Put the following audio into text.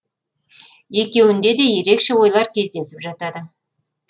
екеуінде де ерекше ойлар кездесіп жатады